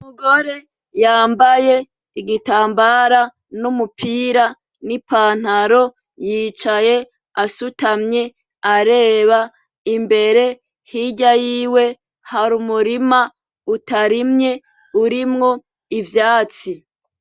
Umugore yambaye igitambara n'umupira n'ipantaro yicaye asutamye areba imbere hirya yiwe hari umurima utarimye urimwo ivyatsi .